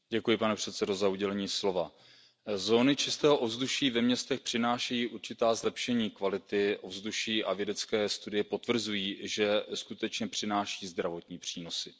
Pane předsedající, zóny čistého ovzduší ve městech přinášejí určitá zlepšení kvality ovzduší a vědecké studie potvrzují, že skutečně přináší zdravotní přínosy.